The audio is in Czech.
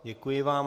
Děkuji vám.